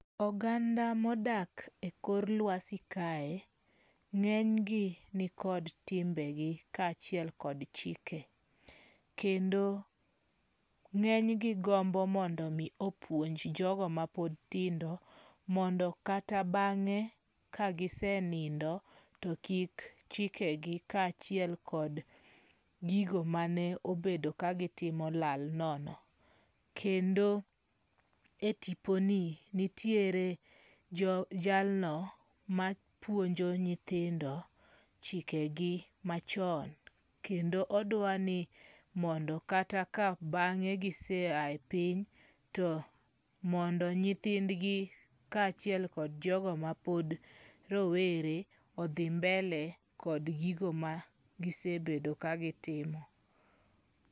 Oganda mor odak e kor luasi kae, nge'ny gi nikod timbegi kachiel kod chike, kendo ngenygi gombo mondo mi opwonj jogo ma pod tindo, mondo kata bange' kagisenindo, to kik chikegi kachiel kod gigo mane obedo kagitimo olal nono, kendo e tiponi, nitiere jalno mapuonjo nyithindo chikegi machon, kendo odawani mondo kata ka bange giseaye piny to mondo nyithindgi kachiel kod jogo mapod rowero othi mbele kod gigo ma gisebedo ka gitimo